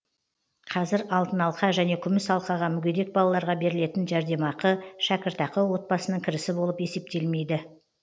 қазір алтын алқа және күміс алқаға мүгедек балаларға берілетін жәрдемақы шәкіртақы отбасының кірісі болып есептелмейді